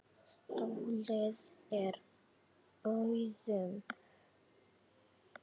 Stolið úr búðum.